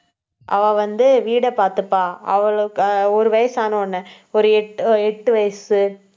அவ வந்து, வீட்டை பாத்துப்பா அவளுக்கு ஒரு வயசான உடனே ஒரு எட்டு எட்டு வயசு